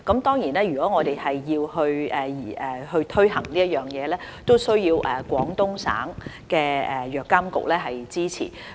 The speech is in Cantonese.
當然，如果我們要推行這措施，亦需要得到廣東省藥品監督管理局的支持。